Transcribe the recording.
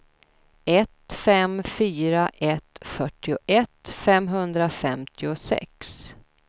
ett fem fyra ett fyrtioett femhundrafemtiosex